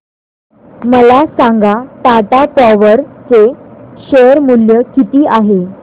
मला सांगा टाटा पॉवर चे शेअर मूल्य किती आहे